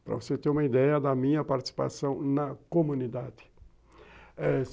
para você ter uma ideia da minha participação na comunidade.